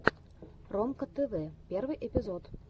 ромка тэвэ первый эпизод